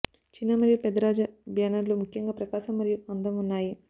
చిన్న మరియు పెద్ద రాజ బ్యానర్లు ముఖ్యంగా ప్రకాశం మరియు అందం ఉన్నాయి